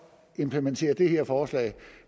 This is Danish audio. implementere det her forslag